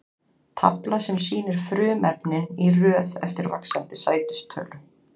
Tafla sem sýnir frumefnin í röð eftir vaxandi sætistölu.